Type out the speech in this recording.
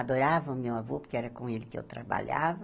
Adorava o meu avô, porque era com ele que eu trabalhava.